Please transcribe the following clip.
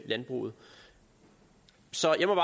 landbruget så jeg må